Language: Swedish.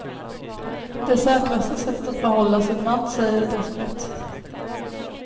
Det är säkraste sättet att behålla sin man, säger de som vet.